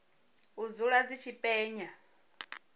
u dzula dzi tshi penya